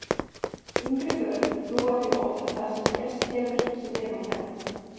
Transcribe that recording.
Yngri börn trúa því oft að það sem gerst hefur sé þeim að kenna.